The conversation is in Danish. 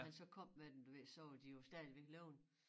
Da han så kom med dem du ved så var de jo stadigvæk levende